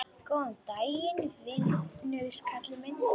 Góðan daginn, vinur kallaði hann.